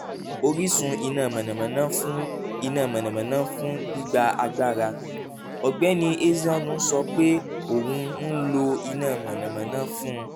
orísun iná mànàmáná fún iná mànàmáná fún gbigba agbara: ọ̀gbẹ́ni ezeonu sọ pé òun ń lo iná mànàmáná fún